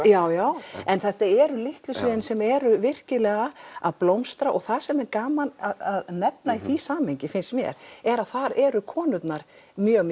já já en þetta eru litlu sviðin sem eru virkilega að blómstra og það sem er gaman að nefna í því samhengi finnst mér er að þar eru konurnar mjög